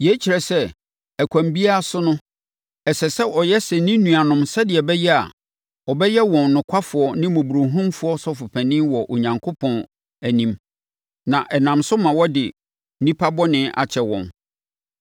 Yei kyerɛ sɛ, ɛkwan biara so no, ɛsɛ sɛ ɔyɛ sɛ ne nuanom sɛdeɛ ɛbɛyɛ a, ɔbɛyɛ wɔn nokwafoɔ ne mmɔborɔhunufoɔ Ɔsɔfopanin wɔ Onyankopɔn anim, na ɛnam so ma wɔde nnipa bɔne akyɛ wɔn.